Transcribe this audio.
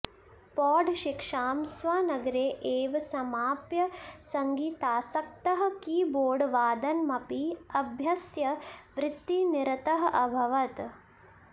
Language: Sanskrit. पौढशिक्षां स्वनगरे एव समाप्य सङ्गीतासक्तः कीबोर्डवादनमपि अभ्यस्य वृत्तिनिरतः अभवत्